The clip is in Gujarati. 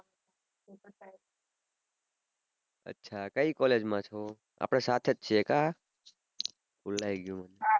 અચ્છા કઈ college માં છો આપડે સાથે જ છીએ કા ભુલાઈ ગ્યું